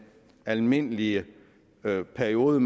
almindelige periode